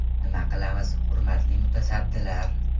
Nima qilamiz, hurmatli mutasaddilar?